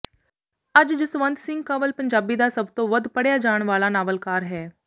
ਅੱਜ ਜਸਵੰਤ ਸਿੰਘ ਕੰਵਲ ਪੰਜਾਬੀ ਦਾ ਸਭ ਤੋਂ ਵੱਧ ਪੜ੍ਹਿਆ ਜਾਣ ਵਾਲਾ ਨਾਵਲਕਾਰ ਹੈ